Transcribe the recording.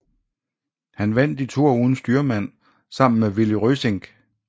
Han vandt i toer uden styrmand sammen med Willy Rösingh